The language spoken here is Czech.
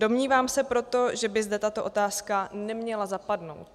Domnívám se proto, že by zde tato otázka neměla zapadnout.